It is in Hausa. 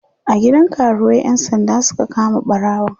a gidan karuwai ƴan sanda Suka kama ɓarawon